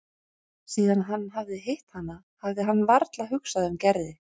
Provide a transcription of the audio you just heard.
Síðan hann hafði hitt hana hafði hann varla hugsað um Gerði.